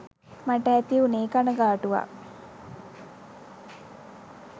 මට ඇති වුනේ කණගාටුවක්.